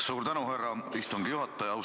Suur tänu, härra istungi juhataja!